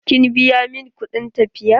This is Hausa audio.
Kin biya min kuɗin tafiya?